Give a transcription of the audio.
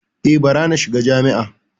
E, bara na shiga jami’a.